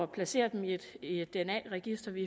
placere dem i et et dna register vi